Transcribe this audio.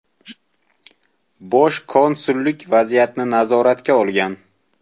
Bosh konsullik vaziyatni nazoratga olgan.